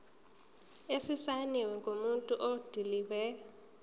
esisayinwe ngumuntu odilive